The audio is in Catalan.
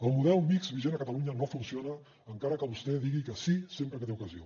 el model mixt vigent a catalunya no funciona encara que vostè digui que sí sempre que té ocasió